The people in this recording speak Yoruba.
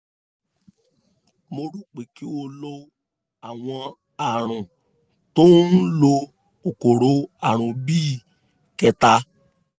mo rò pé kí o lo àwọn ààrùn tó ń lo kòkòrò àrùn bíi ketan